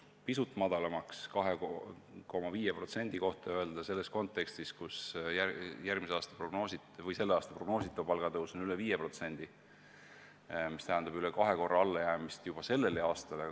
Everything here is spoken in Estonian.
Öelda "pisut madalamaks" 2,5% kohta kontekstis, kus tänavune prognoositav palgatõus on üle 5% – see tähendab üle kahe korra allajäämist juba sellel aastal.